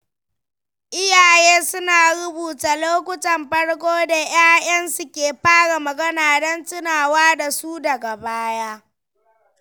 Iyaye suna rubuta lokutan farko da ‘ya’yansu ke fara magana don tunawa da su daga baya.